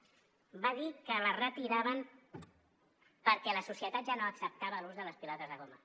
va dir que les retiraven perquè la societat ja no acceptava l’ús de les pilotes de goma